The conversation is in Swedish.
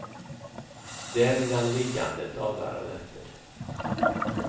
Där blir han liggande dagar och nätter.